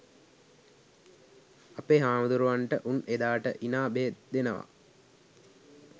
අපේ හාමුදුරුවන්ට උන් එදාට ඉනා බෙහෙත් දෙනවා